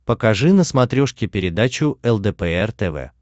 покажи на смотрешке передачу лдпр тв